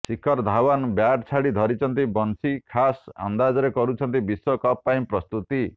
ଶିଖର Dhawan bat ଛାଡି ଧରିଛନ୍ତି ବଂଶୀ ଖାସ୍ ଅନ୍ଦାଜରେ କରୁଛନ୍ତି ବିଶ୍ୱ କପ୍ ପାଇଁ ପ୍ରସ୍ତୁତି